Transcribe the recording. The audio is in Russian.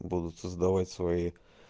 будут создавать свои